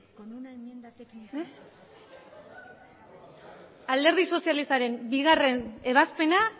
alderdi sozialistaren bigarren ebazpena